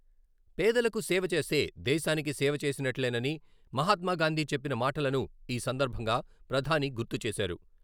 పేదలకు సేవ చేస్తే దేశానికి సేవ చేసినట్లేనని మహాత్మాగాంధీ చెప్పిన మాటలను ఈసందర్భంగా ప్రధాని గుర్తు చేశారు.